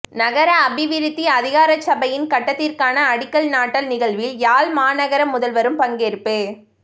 நகர அபிவிருத்தி அதிகாரசபையின் கட்டடத்திற்கான அடிக்கல் நாட்டல் நிகழ்வில் யாழ் மாநகர முதல்வரும் பங்கேற்பு